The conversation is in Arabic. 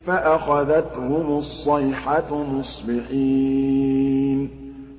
فَأَخَذَتْهُمُ الصَّيْحَةُ مُصْبِحِينَ